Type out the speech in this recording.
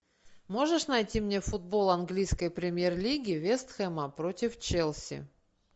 можешь найти мне футбол английской премьер лиги вест хэма против челси